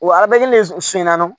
Wa a bɛ le sonyɛ n'a don